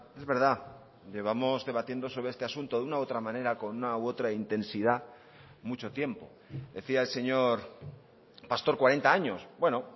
es verdad llevamos debatiendo sobre este asunto de una u otra manera con una u otra intensidad mucho tiempo decía el señor pastor cuarenta años bueno